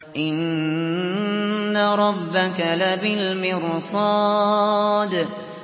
إِنَّ رَبَّكَ لَبِالْمِرْصَادِ